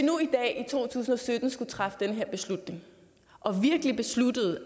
to tusind og sytten skulle træffe den her beslutning og virkelig besluttede